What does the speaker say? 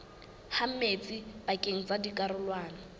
ha metsi pakeng tsa dikarolwana